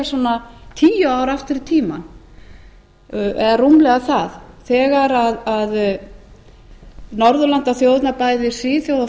svona tíu ár aftur í tímann eða rúmlega það þegar norðurlandaþjóðirnar bæði svíþjóð og